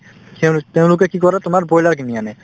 সেওঁলো তেওঁলোকে কি কৰে তোমাৰ broiler কিনি আনে